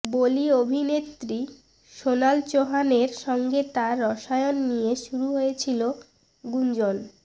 বলি অভিনেত্রী সোনাল চৌহানের সঙ্গে তাঁর রসায়ন নিয়ে শুরু হয়েছিল গুঞ্জন